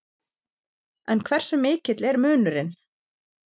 En hversu mikill er munurinn?